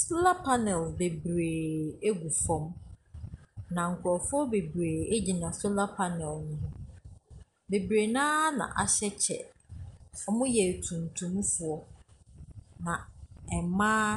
Solar panel bebreeee gu fa, na nkurɔfoɔ bebree gyina solar panel no ho. Bebree no ara na wɔahyɛ kyɛ. Wɔyɛ tuntumfoɔ. Baa mmaa